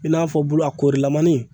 I n'a fɔ bulu korilamanni